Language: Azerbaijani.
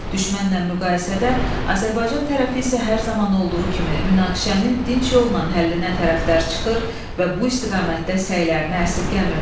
Düşmənlə müqayisədə Azərbaycan tərəfi isə hər zaman olduğu kimi münaqişənin dinc yolla həllinə tərəfdar çıxır və bu istiqamətdə səylərini əsirgəmirdi.